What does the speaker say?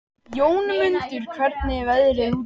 Jómundur, hvernig er veðrið úti?